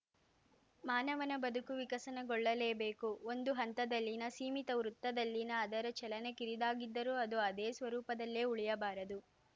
ಮಾನವನ ಬದುಕು ವಿಕಸನಗೊಳ್ಳಲೇಬೇಕು ಒಂದು ಹಂತದಲ್ಲಿನ ಸೀಮಿತ ವೃತ್ತದಲ್ಲಿನ ಅದರ ಚಲನೆ ಕಿರಿದಾಗಿದ್ದರೂ ಅದು ಅದೇ ಸ್ವರೂಪದಲ್ಲೇ ಉಳಿಯಬಾರದು